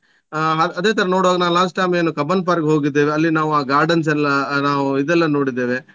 ಆ ಅದೇ ತರ ನೋಡುವಾಗ ನಾನ್ last time ಏನು ಕಬ್ಬನ್ park ಹೋಗಿದ್ದೇವೆ ಅಲ್ಲಿ ನಾವು ಆ gardens ಎಲ್ಲ ನಾವು ಇದೆಲ್ಲ ನೋಡಿದ್ದೇವೆ.